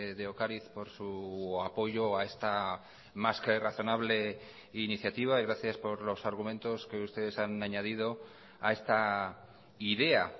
de ocariz por su apoyo a esta más que razonable iniciativa y gracias por los argumentos que ustedes han añadido a esta idea